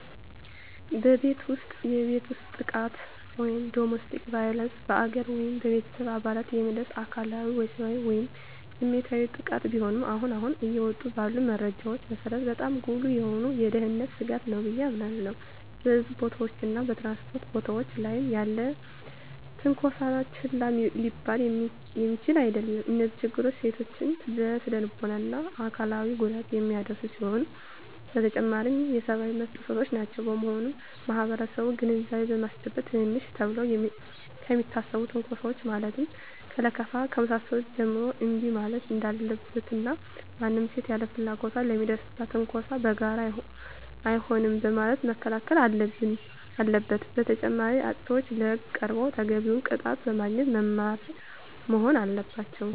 በቤት ውስጥ የቤት ውስጥ ጥቃት (Domestic Violence): በአጋር ወይም በቤተሰብ አባላት የሚደርስ አካላዊ፣ ወሲባዊ ወይም ስሜታዊ ጥቃት ሲሆን አሁን አሁን እየወጡ ባሉ መረጃዎች መሰረት በጣም ጉልህ የሆነ የደህንነት ስጋት ነው ብየ አምናለሁ። በሕዝብ ቦታዎች እና በ ትራንስፖርት ቦታወች ላይ ያለም ትነኮሳ ችላ ሊባል የሚችል አደለም። እነዚህ ችግሮች ሴቶችን ለስነልቦና እና አካላዊ ጉዳት የሚዳርጉ ሲሆኑ በተጨማሪም የሰብአዊ መብት ጥሰቶችም ናቸው። በመሆኑም ማህበረሰቡን ግንዛቤ በማስጨበጥ ትንንሽ ተብለው ከሚታሰቡ ትንኮሳወች ማለትም ከለከፋ ከመሳሰሉት ጀምሮ እንቢ ማለት እንዳለበት እና ማንም ሴት ያለ ፍላጎቷ ለሚደርስባት ትንኮሳ በጋራ አይሆንም በማለት መከላከል አለበት። በተጨማሪም አጥፊዎች ለህግ ቀርበው ተገቢውን ቅጣት በማግኘት መማሪያ መሆን አለባቸው።